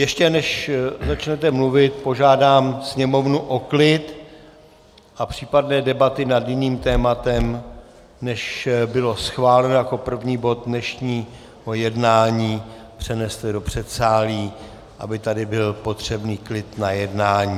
Ještě než začnete mluvit, požádám Sněmovnu o klid a případné debaty nad jiným tématem, než bylo schváleno jako první bod dnešního jednání, přeneste do předsálí, aby tady byl potřebný klid na jednání.